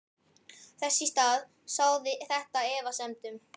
Þess í stað sáði þetta efasemdum.